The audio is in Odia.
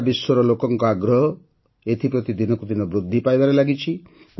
ସାରା ବିଶ୍ୱର ଲୋକଙ୍କ ଆଗ୍ରହ ଏଥିପ୍ରତି ଦିନକୁ ଦିନ ବୃଦ୍ଧି ପାଇବାରେ ଲାଗିଛି